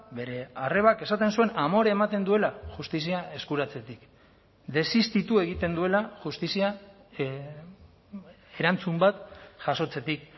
bere arrebak esaten zuen amore ematen duela justizia eskuratzetik desistitu egiten duela justizia erantzun bat jasotzetik